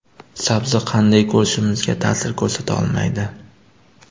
Sabzi qanday ko‘rishimizga ta’sir ko‘rsata olmaydi.